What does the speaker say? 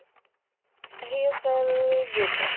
hair style good ਐ